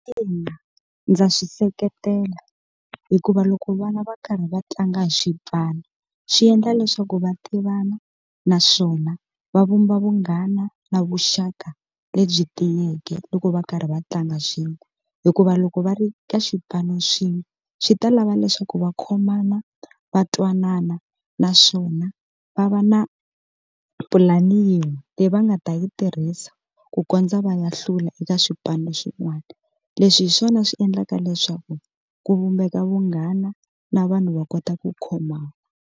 Ina, ndza swi seketela hikuva loko vana va karhi va tlanga hi swipano xi endla leswaku va tivana naswona va vumba vunghana na vuxaka lebyi tiyeke loko va karhi va tlanga swin'we hikuva loko va ri ka xipano xin'we swi ta lava leswaku va khomana va twanana naswona va va na pulani yin'we leyi va nga va ta yi tirhisa ku kondza va ya hlula eka swipano swin'wana leswi hi swona swi endlaka leswaku ku vumbeka vunghana na vanhu va kota ku khomana.